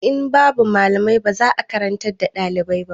In babu malamai ba za a karantar da ɗalibai ba.